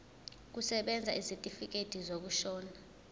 kusebenza isitifikedi sokushona